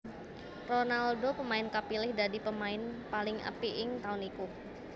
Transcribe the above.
Ronaldo pemain kapilih dadi pemain paling apik ing taun iku